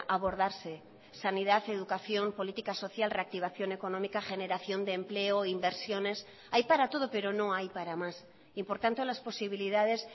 abordarse sanidad educación política social reactivación económica generación de empleo inversiones hay para todo pero no hay para más y por tanto las posibilidades